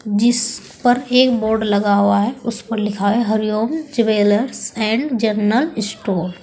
जिस पर एक बोर्ड लगा हुआ है उस पर लिखा है Hari Om jewellers and general store.